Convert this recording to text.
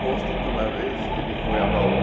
Consta que uma vez ele foi a Bauru,